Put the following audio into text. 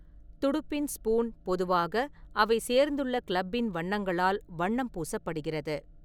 துடுப்பின் ஸ்பூன் பொதுவாக அவை சேர்ந்துள்ள கிளப்பின் வண்ணங்களால் வண்ணம் பூசப்படுகிறது.